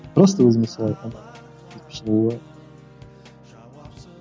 просто өзім солай